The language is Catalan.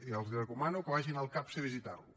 i els recomano que vagin al capse a visitar lo